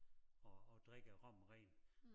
At at drikke rom rent